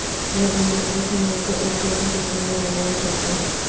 event لمبی چھلانگ کو ایک جیسی شکل میں بنایا جاتا ہے